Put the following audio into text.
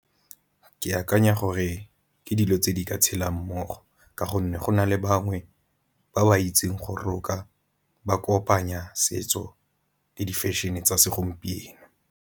Ke akanya gore ke dilo tse di ka tshelang mmogo, ka gonne go na le bangwe ba ba itseng go roka ba kopanya setso le di fashion-e tsa segompieno.